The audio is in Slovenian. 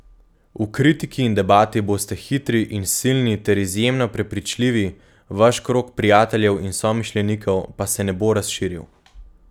V kritiki in debati boste hitri in silni ter izjemno prepričljivi, vaš krog prijateljev in somišljenikov pa se ne bo razširil.